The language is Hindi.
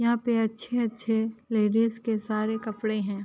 यहाँ पे अच्छे-अच्छे लेडीज़ के सारे कपड़े हैं।